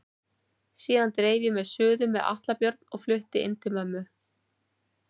Síðan dreif ég mig suður með Atla Björn og flutti inn á mömmu.